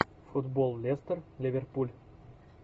футбол лестер ливерпуль